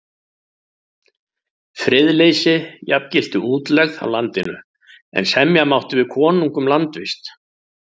Friðleysi jafngilti útlegð af landinu, en semja mátti við konung um landvist.